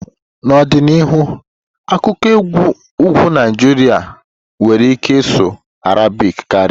N'ọdịnihu, akụkụ ugwu Naijiria nwere ike ịsụ Arabic karịa.